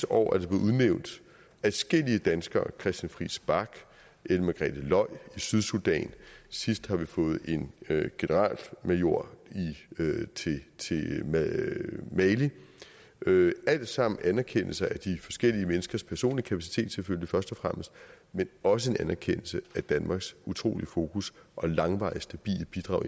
år er der blevet udnævnt adskillige danskere christian friis bach ellen margrethe løj i sydsudan sidst har vi fået en generalmajor til mali alt sammen anerkendelse af de forskellige menneskers personlige kapacitet selvfølgelig først og fremmest men også en anerkendelse af danmarks utrolige fokus og langvarige stabile bidrag